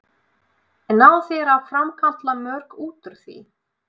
En ná þeir að framkalla mörk út úr því?